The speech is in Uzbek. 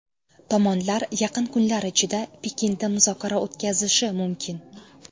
Tomonlar yaqin kunlar ichida Pekinda muzokara o‘tkazishi mumkin.